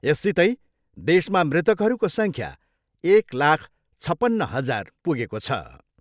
यससितै देशमा मृतकहरूको सह्ख्या एक लाख छपन्न हजार पुगेको छ।